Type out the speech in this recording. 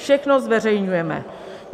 Všechno zveřejňujeme.